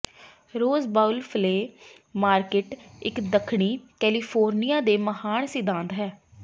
ਰੋਜ਼ Bowl Flea Market ਇੱਕ ਦੱਖਣੀ California ਦੇ ਮਹਾਨ ਸਿਧਾਂਤ ਹੈ